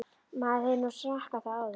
Maður hefur nú smakkað það áður.